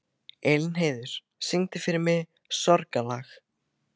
Elínheiður, syngdu fyrir mig „Sorgarlag“.